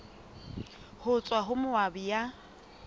ho tswa ho moabi ya